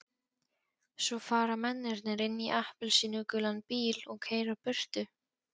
Svo fara mennirnir inn í appelsínugulan bíl og keyra burtu.